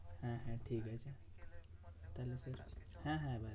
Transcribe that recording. হ্যাঁ হ্যাঁ ঠিকাছে তাহলে তুই রাখ। হ্যাঁ হ্যাঁ